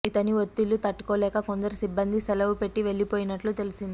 ఇతని ఒత్తిళ్లు తట్టుకోలేక కొందరు సిబ్బంది సెలవు పెట్ట వెళ్లిపోయినట్లు తెలిసింది